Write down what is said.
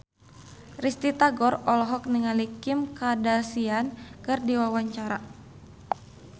Risty Tagor olohok ningali Kim Kardashian keur diwawancara